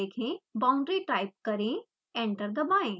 boundary type करें enter दबाएं